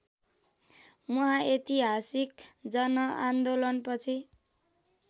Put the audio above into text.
उहाँ ऐतिहासिक जनआन्दोलनपछि